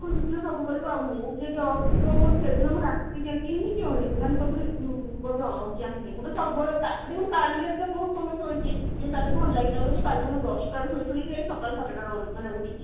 ଖୁସି ଥିଲେ ସବୁ କରିବ ଆଉ mood ଯଦି off ମାନେ ସେଦିନ ମୁଁ ରାତି ଯାକ ହିଁ ତାପରେ ଚାହିଞ୍ଚି ମୁଁ ତ ସବୁବେଳେ ଦେଖୁନୁ କାଲି ରାତି ରେ ବହୁତ ସମୟ ଶୋଇଛି ଟିକେ କାଲି ଭଲ ଲାଗିଲା ବୋଲି କାଲି ମୁଁ ଦଶ ଟା ରୁ ଶୋଇଛି ଯେ ସକାଳ ସାଢେ ଛଅ ଟା ରେ ମାନେ ଉଠିଲି।